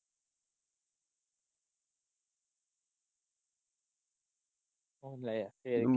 ਲੈ ਫਿਰ।